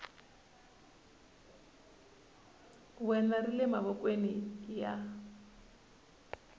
wena ri le mavokweni ya